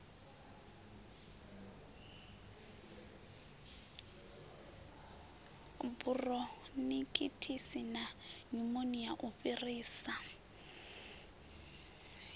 buronikhitisi na nyumonia u fhirisa